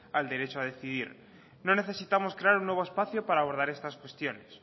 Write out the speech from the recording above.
al derecho a decidir no necesitamos crear un nuevo espacio para abordar estas cuestiones